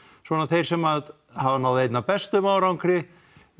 svona þeir sem hafa náð einna bestum árangri